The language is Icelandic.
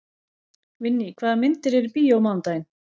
Vinný, hvaða myndir eru í bíó á mánudaginn?